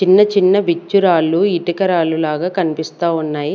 చిన్న చిన్న విచ్చురాలు ఇటుక రాళ్లు లాగా కనిపిస్తా ఉన్నాయి.